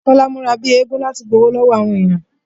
Kọ́lá múra bíi eégún láti gbowó lọ́wọ́ àwọn èèyàn